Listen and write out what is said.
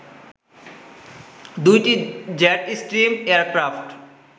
২টি jetstream aircraft